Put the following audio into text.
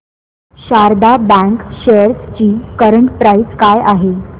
Sharda bank shares ची current price काय आहे